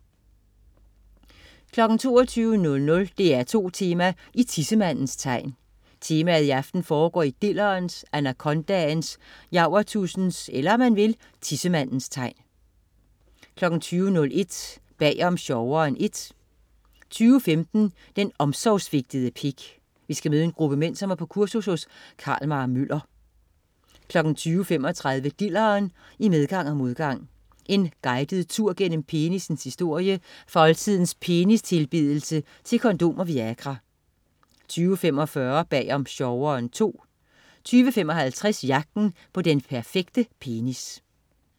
20.00 DR2 Tema: I tissemandens tegn. Temaet i aften foregår i dillerens, anakondaens, javertusens, eller, om man vil, tissemandens tegn 20.01 Bag om sjoveren I 20.15 Den omsorgssvigtede pik. Vi skal møde en gruppe mænd, som er på kursus hos Carl-Mar Møller 20.35 Dilleren. I medgang og modgang. En guided tur gennem penissens historie fra oldtidens penistilbedelse til kondom og Viagra 20.45 Bag om sjoveren II 20.55 Jagten på den perfekte penis